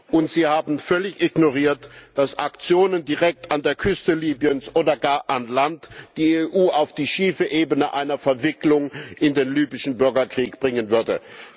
Und Sie haben völlig ignoriert, dass Aktionen direkt an der Küste Libyens oder gar an Land die EU auf die schiefe Ebene einer Verwicklung in den libyschen Bürgerkrieg bringen würde.